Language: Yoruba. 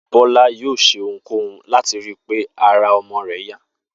Bó̩lá yóò s̩e ohunkóhun láti ri pé ara o̩mo̩ rè̩ yá